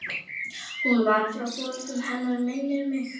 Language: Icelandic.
Hún var frá foreldrum hennar minnir mig.